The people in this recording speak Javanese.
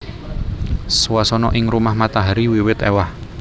Swasana ing Rumah Matahari wiwit éwah